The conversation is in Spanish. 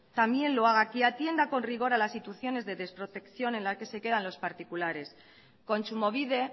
que atienda con rigor a las situaciones de desprotección en la que se quedan los particulares kontsumobide